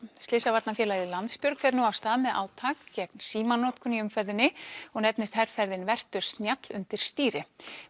slysavarnarfélagið Landsbjörg fer nú af stað með átak gegn símanotkun í umferðinni og nefnist herferðin vertu snjall undir stýri